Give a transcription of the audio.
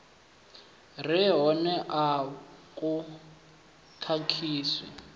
re hone a vhu khakhisi